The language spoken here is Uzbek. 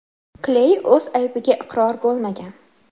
Kley o‘z aybiga iqror bo‘lmagan.